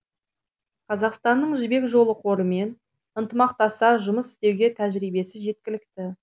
қазақстанның жібек жолы қорымен ынтымақтаса жұмыс істеуге тәжірибесі жеткілікті